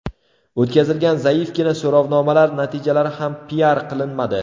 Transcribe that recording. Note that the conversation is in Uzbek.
O‘tkazilgan zaifgina so‘rovnomalar natijalari ham piar qilinmadi.